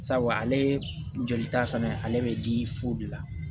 Sabu ale jolita fana ale bɛ di fu de la